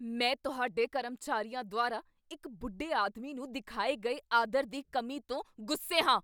ਮੈਂ ਤੁਹਾਡੇ ਕਰਮਚਾਰੀਆਂ ਦੁਆਰਾ ਇੱਕ ਬੁੱਢੇ ਆਦਮੀ ਨੂੰ ਦਿਖਾਏ ਗਏ ਆਦਰ ਦੀ ਕਮੀ ਤੋਂ ਗੁੱਸੇ ਹਾਂ।